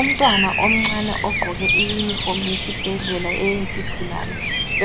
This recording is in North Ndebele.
Umntwana omncane ogqoke i unifomu yesibhedlela eyezigulane